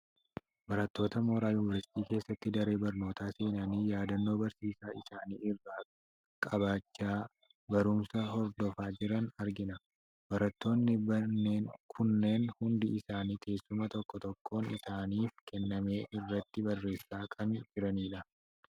Barattoota mooraa Yuuniversiitii keessatti daree barnootaa seenanii yaadannoo barsiisaa isaani irraa qabachaa barumsa hordofaa jiran argina. Barattoonni kunneen hundi isaanii teessuma tokko tokkoon isaaniif kenname irratti barreessaa kan jirani dha.